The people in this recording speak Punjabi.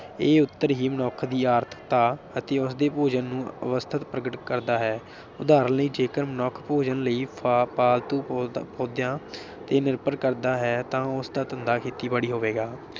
ਇਹ ਉਤਰ ਹੀ ਮਨੁੱਖ ਦੀ ਆਰਥਿਕਤਾ ਅਤੇ ਉਸਦੇ ਭੋਜਨ ਨੂੰ ਅਵਸਥਿਤ ਪ੍ਰਗਟ ਕਰਦਾ ਹੈ। ਉਦਾਹਰਨ ਲਈ ਜੇਕਰ ਮਨੁੱਖ ਭੋਜਨ ਲਈ ਫਾ ਫਾਲਤੂ ਪੌਦਿਆੰ ਤੇ ਨਿਰਭਰ ਕਰਦਾ ਹੈ ਤਾਂ ਉਸਦਾ ਧੰਦਾ ਖੇਤੀਬਾੜੀ ਹੋਵੇਗਾ।